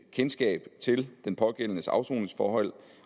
kendskab til den pågældendes afsoningsforhold